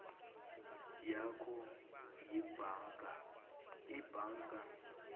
yakho yebhanka ibhanka